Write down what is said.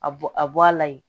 A bɔ a bɔ a la yen